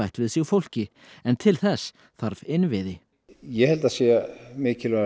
við sig fólki en til þess þarf innviði ég held að það sé mikilvægast